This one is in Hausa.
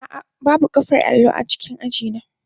A'a, babu baƙar allo a cikin aji na.